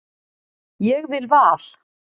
Ég vil Val.